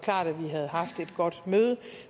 klart at vi havde haft et godt møde